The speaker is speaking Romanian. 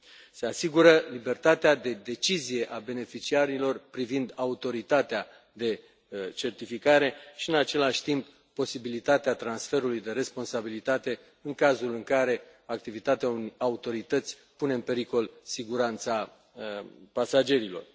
Se asigură libertatea de decizie a beneficiarilor privind autoritatea de certificare și, în același timp, posibilitatea transferului de responsabilitate în cazul în care activitatea unei autorități pune în pericol siguranța pasagerilor.